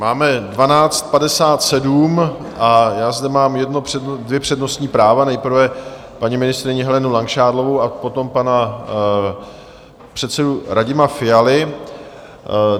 Máme 12.57 a já zde mám dvě přednostní práva, nejprve paní ministryni Helenu Langšádlovou a potom pana předsedu Radima Fialu.